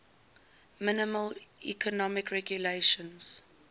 minimal economic regulations